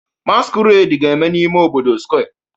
Masquerade ga-eme n'ime obodo Square